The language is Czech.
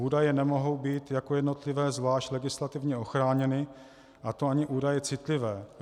Údaje nemohou být jako jednotlivé zvlášť legislativně ochráněny, a to ani údaje citlivé.